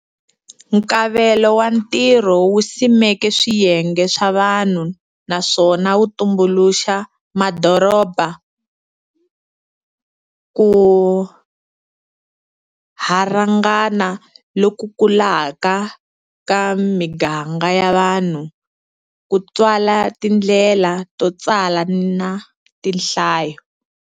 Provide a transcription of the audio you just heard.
Nkavelo wa ntirho wu simeke swiyenge swa vanhu naswona wu tumbuluxa madorobha. Kurharhangana loku kulaka ka miganga ya vanhu ku tswale tindlela to tsala na tinhlayo.